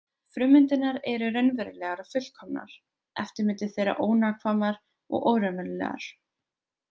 Frummyndirnar eru raunverulegar og fullkomnar, eftirmyndir þeirra ónákvæmar og óraunverulegar.